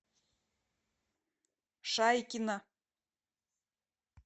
шайкина